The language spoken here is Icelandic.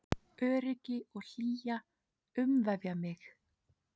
Öryggi og hlýja umvefja mig.